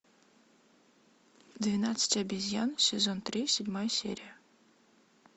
двенадцать обезьян сезон три седьмая серия